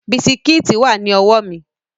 Bisikíìtì wà ní ọwọ́ mi